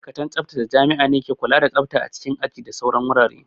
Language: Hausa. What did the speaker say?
Ma'aikatan tsaftace jami'a ne ke kula da tsafta a cikin aji da sauran wurare